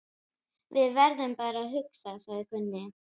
Við verðum bara að hugsa, sagði Gunni.